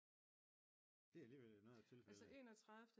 Det er alligevel noget af et tilfælde